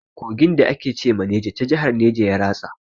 Kogin da ake ce ma Neja ta jahar neja ya ratsa.